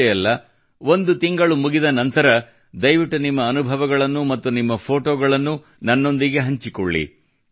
ಇಷ್ಟೇ ಅಲ್ಲ ಒಂದು ತಿಂಗಳು ಮುಗಿದ ನಂತರ ದಯವಿಟ್ಟು ನಿಮ್ಮ ಅನುಭವಗಳನ್ನು ಮತ್ತು ನಿಮ್ಮ ಫೋಟೋಗಳನ್ನು ನನ್ನೊಂದಿಗೆ ಹಂಚಿಕೊಳ್ಳಿ